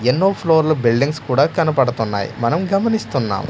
ఎన్నో ఫ్లోర్లు బిల్డింగ్స్ కూడా కనపడతున్నాయి మనం గమనిస్తున్నాం.